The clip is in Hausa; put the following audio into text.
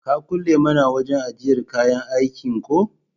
Ka kulle mana wajan ajjiyar kayan aikin ko?